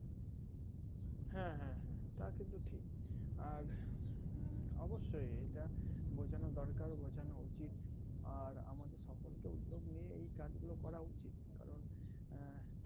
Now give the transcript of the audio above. হ্যাঁ হ্যাঁ হ্যাঁ তা কিন্তু ঠিক আর হম অবশ্যই এটা বোঝানো দরকার বোঝানো উচিৎ আর আমাদের সকলকে উদ্যোগ নিয়ে এই কাজগুলো করা উচিৎ কারন আহ